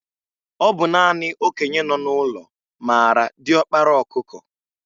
Ọ bụ naanị okenye nọ n'ụlọ maara diọkpara ọkụkọ.